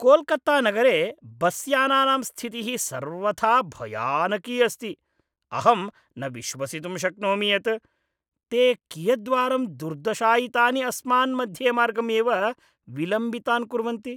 कोल्कत्तानगरे बस्यानानां स्थितिः सर्वथा भयानकी अस्ति, अहं न विश्वसितुं शक्नोमि यत् ते कियद्वारं दुर्दशायितानि अस्मान् मध्येमार्गम् एव विलम्बितान् कुर्वन्ति।